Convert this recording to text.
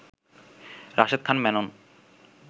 Rashed Khan Menon